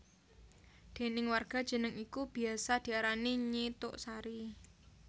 Déning warga jeneng iku biyasa diarani Nyi Tuk Sari